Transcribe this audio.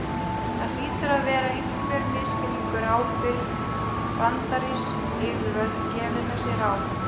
Það hlýtur að vera einhver misskilningur að ábyrg bandarísk yfirvöld gefi þessi ráð.